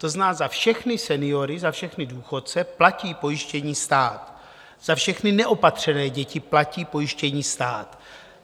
To znamená, za všechny seniory, za všechny důchodce platí pojištění stát, za všechny neopatřené děti platí pojištění stát.